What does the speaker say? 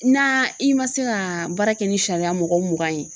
Na i ma se ka baara kɛ ni sariya mɔgɔ mugan ye